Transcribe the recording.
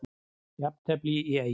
Jafntefli í Eyjum